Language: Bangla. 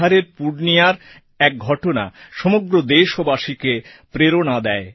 বিহারের পূর্ণিয়ার এক ঘটনা সমগ্র দেশবাসীকে প্রেরণাদান করে